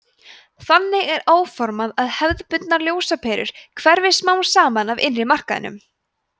þannig er áformað að hefðbundnar ljósaperur hverfi smám saman af innri markaðinum